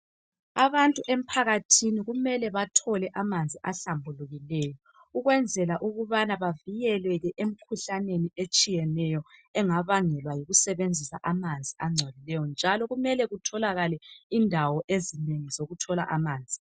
Abantu emphakathini kumele bathole amanzi ahlambulukileyo ukwenzela ukubana bavikelwe emkhuhlaneni etshiyeneyo engabangelwa yikusebenzisa amanzi angcolileyo njalo kumele kutholakale indawo ezinengi zokuthola amanzi.